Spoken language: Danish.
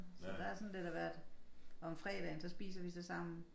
Så der sådan lidt af hvert og om fredagen så spiser vi så sammen